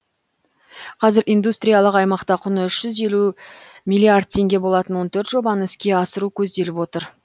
қазір индустриялық аймақта құны үш жүз елу миллиард теңге болатын он төрт жобаны іске асыру көзделіп отыр